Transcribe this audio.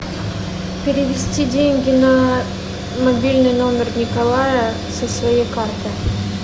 перевести деньги на мобильный номер николая со своей карты